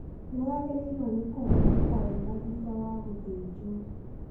Nĩwagĩrĩirwo nĩ kũhumũka wega thutha wa gũthĩnjwo